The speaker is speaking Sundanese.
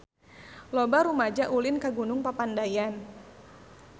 Loba rumaja ulin ka Gunung Papandayan